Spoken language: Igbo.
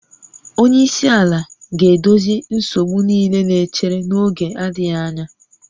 Onye isi ala ga-edozi nsogbu niile na-echere n'oge adịghị anya